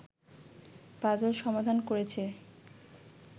puzzle সমাধান করেছে